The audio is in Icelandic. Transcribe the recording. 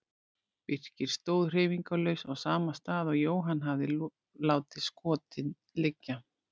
Birkir stóð hreyfingarlaus á sama stað og Jóhann hafði látið skotin liggja.